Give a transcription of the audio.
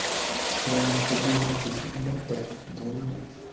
стоимость обмена тысяч батов в доллары